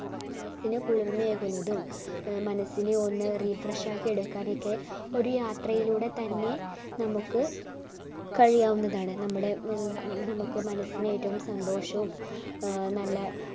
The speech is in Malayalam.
മനസ്സിന് കുളിർമ ഏകുന്നതും മനസ്സിന് ഒന്ന് refresh ആക്കി എടുക്കാനൊക്കെ ഒരു യാത്രയിലൂടെ തന്നെ നമ്മുക്ക് കഴിയാവുന്നതാണ് നമ്മുടെ നമ്മുക്ക് മനസ്സിന് ഏറ്റവും സന്തോഷവും ഏർ നല്ല